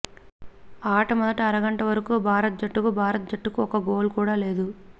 ఆట మొదటి అరగంట వరకు భారత్ జట్టుకు భారత జట్టుకు ఒక్క గోల్ కూడా లేదు